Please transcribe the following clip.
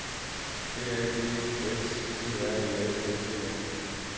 D A G S P R E S S E N